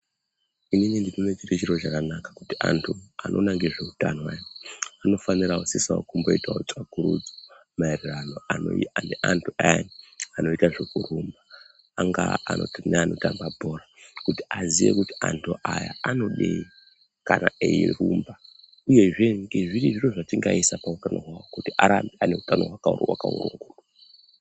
Inini ndinoona zviri zviro zvakanaka kuti antu anoita ngezveutano ayani anofana kusisa kumboitawo tsvagurudzo maererano neantu ayani anoita zvekurumba angaa anoti neanotamba bhora kuti aziye kuti antu aya anodei kana eirumba uyezve ngezviri zviro zvatingaisa pautano hwawo kuti arambe ane utano hwaka